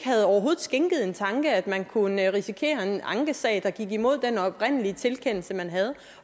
skænket det en tanke at man kunne risikere en ankesag der gik imod den oprindelige tilkendelse man havde